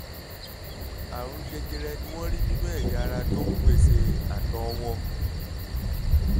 àrùn jẹjẹrẹ ni wọ́n rí nínú ẹ̀yà ara tó ń pèsè àtọ̀ wọn